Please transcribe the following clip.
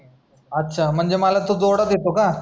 अच्छा म्हणजे मला तू जोडा देतोय का